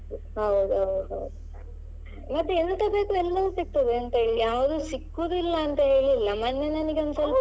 ಹೌದ್ ಹೌದೌದು ಮತ್ತೆ ಎಂತ ಬೇಕು ಎಲ್ಲವು ಸಿಕ್ತದೆ ಯಾವುದು ಸಿಕ್ಕುದಿಲ್ಲ ಅಂತೇಳಿ ಇಲ್ಲ ಮೊನ್ನೆ ನನಿಗೊಂದ್ ಸ್ವಲ್ಪ.